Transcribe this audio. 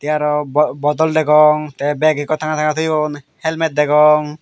te aro bottle degong te bag ekko tanga tanga toyon helmet degong.